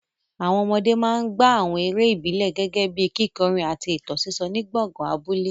Àwọn ọmọdé máa ń gbá àwọn eré ìbílẹ̀ gẹ́gẹ́ bíi kíkọrin àti ìtàn sísọ ní gbọ̀ngàn abúlé.